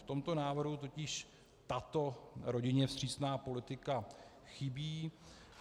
V tomto návrhu totiž tato rodině vstřícná politika chybí.